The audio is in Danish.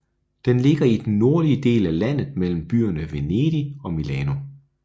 Den ligger i den nordlige del af landet mellem byerne Venedig og Milano